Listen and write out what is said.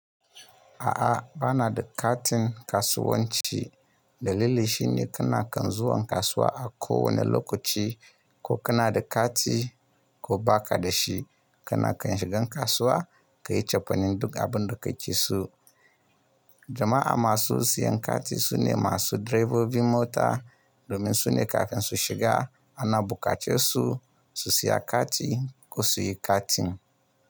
A'a, ba na da katin kasuwanci. Dalili shi ne, kana kan zuwan kasuwa a kowane lokaci ko kana da kati, ko ba ka da shi, kana kan shigan kasuwa, ka yi cefanen duk abin da kake so. Jama'a masu siyan kati, su ne masu direbobi mota, domin su ne kafin su shiga ana buƙace su, su siya kati ko su yi katin.